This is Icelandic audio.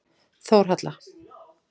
Þórhalla